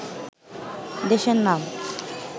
দেশের নাম